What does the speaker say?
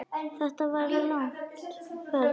Þetta var langt ferli.